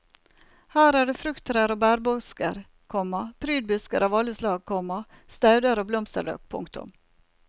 Her er det frukttrær og bærbusker, komma prydbusker av alle slag, komma stauder og blomsterløk. punktum